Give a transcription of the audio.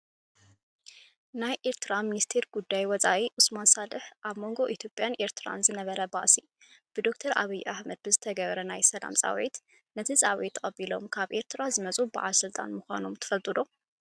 ናይ ኤርትራ ሚኒስትሪ ጉዳያት ወፃኢ ዑስማን ሳልሕ ኣብ መንጎ ኢትዮጵያን ኤርትራን ዝነበረ ባእሲ ብዶክተር ኣብይ ኣሕመድ ብዝተገበረ ናይ ሰላም ፃዊዒት፣ ነቲ ፃዊዒት ተቀቢሎም ካብ ኤርትራ ዝመፁ ባዓል ስልጣን ምኳኖም ትፈልጡ ዶ ?